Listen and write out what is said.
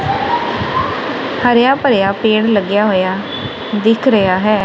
ਹਰਿਆ ਭਰਿਆ ਪੇੜ ਲੱਗਿਆ ਹੋਇਆ ਦਿੱਖ ਰਿਹਾ ਹੈ।